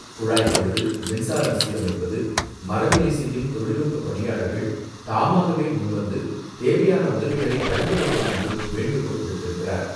குழாய் பழுது, மின்சாரம் சீரமைப்பது, மரவேலை செய்யும் தொழில்நுட்ப பணியாளர்கள் தாமாகவே முன்வந்து, தேவையான உதவிகளை வழங்க வேண்டும் என்றும் வேண்டுகோள் விடுத்திருக்கிறார்.